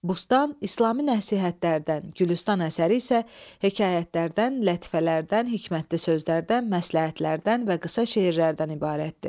"Bustan" İslami nəsihətlərdən, "Gülüstan" əsəri isə hekayətlərdən, lətifələrdən, hikmətli sözlərdən, məsləhətlərdən və qısa şeirlərdən ibarətdir.